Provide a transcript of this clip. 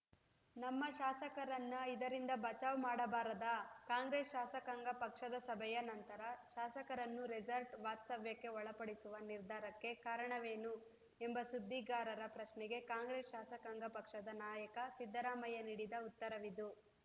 ನಮ್ಮ ಶಾಸಕರನ್ನ ಇದರಿಂದ ಬಚಾವ್‌ ಮಾಡಬಾರದಾ ಕಾಂಗ್ರೆಸ್‌ ಶಾಸಕಾಂಗ ಪಕ್ಷದ ಸಭೆಯ ನಂತರ ಶಾಸಕರನ್ನು ರೆಸಾರ್ಟ್‌ ವಾಸ್ತವ್ಯಕ್ಕೆ ಒಳಪಡಿಸುವ ನಿರ್ಧಾರಕ್ಕೆ ಕಾರಣವೇನು ಎಂಬ ಸುದ್ದಿಗಾರರ ಪ್ರಶ್ನೆಗೆ ಕಾಂಗ್ರೆಸ್‌ ಶಾಸಕಾಂಗ ಪಕ್ಷದ ನಾಯಕ ಸಿದ್ದರಾಮಯ್ಯ ನೀಡಿದ ಉತ್ತರವಿದು